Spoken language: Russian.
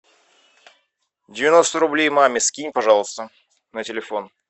девяносто рублей маме скинь пожалуйста на телефон